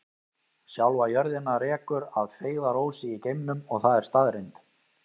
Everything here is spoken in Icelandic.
Sjálfa jörðina rekur að feigðarósi í geimnum og það er staðreynd.